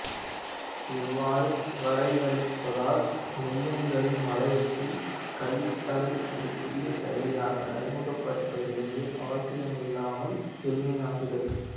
இவ்வாறு வரையறுப்பதால் மெய்யெண்களின் வளையத்தில் கழித்தலை ஒரு புதிய செயலியாக அறிமுகப்படுத்த வேண்டிய அவசியிமில்லாமல் எளிமையாகிறது